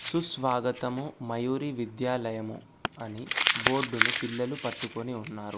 సుస్వాగతము మయూరి విద్యాలయము అని బోర్డును పిల్లలు పట్టుకొని ఉన్నారు.